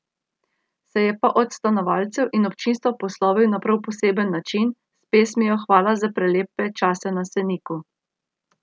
Se je pa od sodelavcev in občinstva poslovil na prav poseben način, s pesmijo Hvala za prelepe čase na Seniku.